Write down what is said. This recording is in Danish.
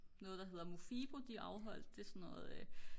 noget der hedder Mofibo de afholdt det er så noget